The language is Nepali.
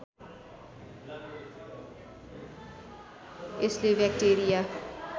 यसले व्याक्टेरिया